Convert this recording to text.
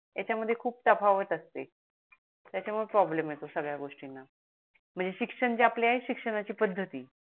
त्याच्या मध्ये खूप तफावाट असते त्याच्या मूळे प्रॉब्लेम येतो संगड्या गोष्टीणा म्हणजे शिक्षण जे आपले आहेत शिक्षणाची पद्धती